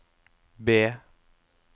B